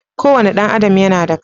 Kowane ɗan adam yana da kai.